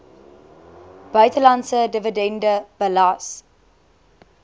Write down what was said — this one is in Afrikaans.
buitelandse dividende belas